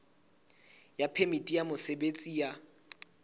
ya phemiti ya mosebetsi ya